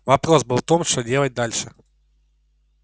вопрос был в том что делать дальше